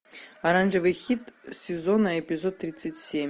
оранжевый хит сезона эпизод тридцать семь